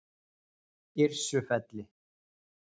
Yrsufelli